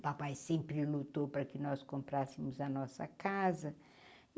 O papai sempre lutou para que nós comprassemos a nossa casa.